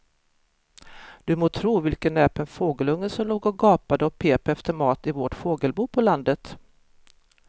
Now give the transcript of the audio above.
Du må tro vilken näpen fågelunge som låg och gapade och pep efter mat i vårt fågelbo på landet.